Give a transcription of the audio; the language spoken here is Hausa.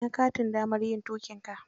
Ina katin damar yin tuƙinka?